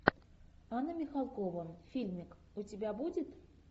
анна михалкова фильмик у тебя будет